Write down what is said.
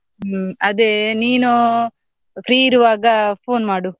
ಹ್ಮ್, ಅದೇ ನೀನು free ಇರುವಾಗ phone ಮಾಡು.